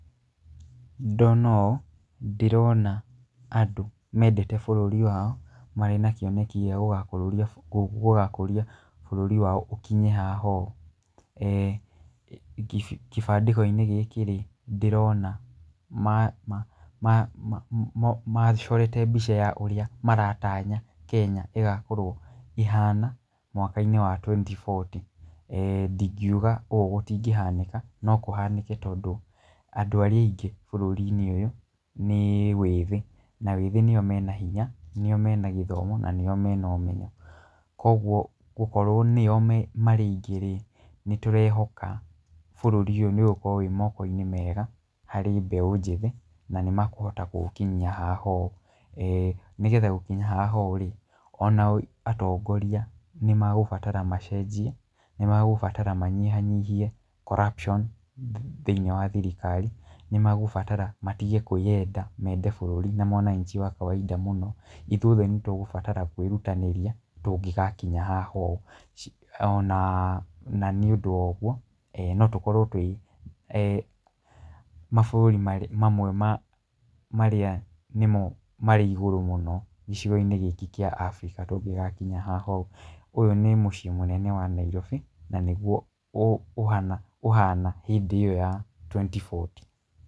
Ndona ũũ ndĩrona andũ mendete bũrũri wao marĩ na kĩoneki gĩa gũgakũria bũrũri wao ũkinye haha ũũ. Gĩbandĩko-inĩ gĩkĩ rĩ, ndĩrona macorete mbica ya ũrĩa maratanya Kenya ĩgakorwo ĩhana mwaka-inĩ wa twenty forty. Ndingiuga ũũ gũtigĩhanĩka, no kũhanĩke tondũ andũ arĩa aingĩ bũrũri-inĩ ũyũ nĩ wĩthĩ na wĩthĩ nĩo mena hinya, nĩo mena gĩthomo na nĩo mena ũmenyo. Koguo gũkorwo nĩo marĩ aingĩ rĩ, nĩ tũrehoka bũrũri-inĩ ũyũ nĩ ũgũkorwo ũrĩ moko-inĩ mega harĩ mbeũ njĩthĩ na nĩ makũhota kũũkinyia haha ũũ. Nĩgetha gũkinya haha ũũ rĩ, ona o atongoria nĩ magũbatara macenjia, nĩ magũbatara manyihanyihie corruption thĩiniĩ wa thirikari, nĩ magũbatara matige kwĩenda mende bũrũri na mwananchi wa kawaida mũno. Ithuĩ othe nĩ tũgũbatara kwĩrutanĩria tũngĩgakinya haha ũũ. Na nĩ ũndũ wa ũguo no tũkorwo twĩ mabũrũri mamwe ma marĩa nĩmo marĩ igũrũ mũno gĩcigo-inĩ gĩkĩ kĩa Africa, tũngĩgakinya haha ũũ. Ũyũ nĩ mũciĩ mũnene wa Nairobi na nĩguo ũhana hĩndĩ ĩyo ya twenty forty.